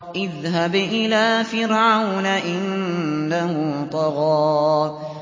اذْهَبْ إِلَىٰ فِرْعَوْنَ إِنَّهُ طَغَىٰ